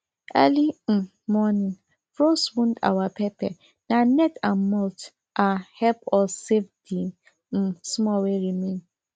early um morning frost wound our pepper na net and mulch um help us save the um small wey remain